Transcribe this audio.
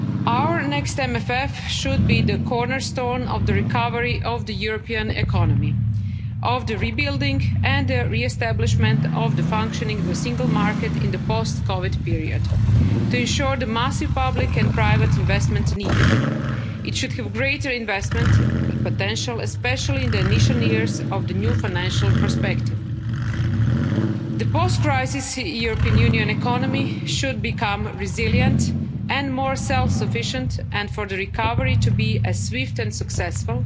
text. Our next MFF should be the cornerstone of the recovery of the European economy, of the rebuilding and the re establishment of the functioning of the single market in the post COVID period to ensure the massive public and private investments needed. It should have greater investment potential, especially in the initial years of the new financial perspective. The post crisis European Union economy should become resilient and more self sufficient, and for the recovery to be swift and successful,